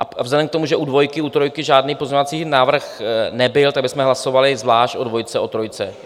A vzhledem k tomu, že u dvojky, u trojky žádný pozměňovací návrh nebyl, tak bychom hlasovali zvlášť o dvojce, o trojce.